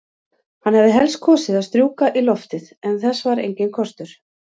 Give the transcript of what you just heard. Hann hefði helst kosið að strjúka í loftið, en þess var enginn kostur.